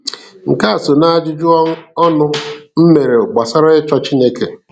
Nke a so n'ajụjụ ọnụ m mere gbasara ịchọ Chineke.